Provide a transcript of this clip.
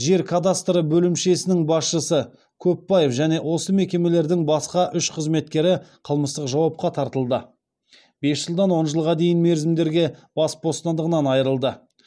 жер кадастры бөлімшесінің басшысы көпбаев және осы мекемелердің басқа үш қызметкері қылмыстық жауапқа тартылды бес жылдан он жылға дейінгі мерзімдерге бас бостандығынан айырылды